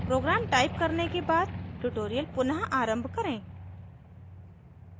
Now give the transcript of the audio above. program type करने के बाद tutorial पुनः आरंभ करें